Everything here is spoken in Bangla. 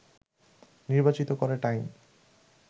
নির্বাচিত করে টাইম